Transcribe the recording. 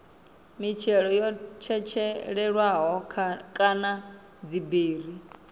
mitshelo yo tshetshelelwaho kana dziberi